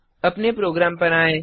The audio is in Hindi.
अपने प्रोग्राम पर आएँ